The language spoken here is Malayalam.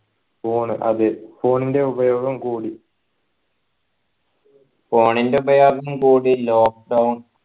phone അതെ phone ൻ്റെ ഉപയോഗം കൂടി